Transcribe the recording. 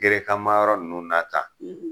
Gerekan mayɔrɔ ninnu n'a ta